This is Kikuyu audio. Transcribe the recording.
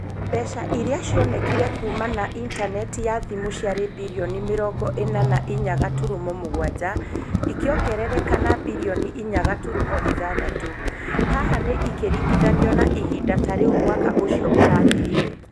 Mbeca iria cionekire kuuma na intaneti ya thimu ciarĩ birioni mĩrongo ĩna na inya gaturumo mũgwanja. Ikĩongerereka na birioni inya gaturumo ithathatũ. Haha ni ikĩringithanio na ihinda ta rĩu mwaka ũcio ũrathirire.